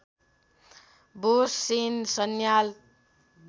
Bose Sen Sanyal